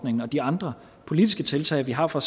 de andre politiske tiltag vi har for